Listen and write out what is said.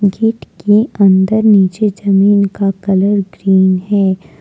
Gate के अंदर नीचे जमीन का कलर ग्रीन है।